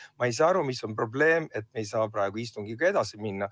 Ma ei saa aru, milles on probleem, et me ei saa praegu istungiga edasi minna.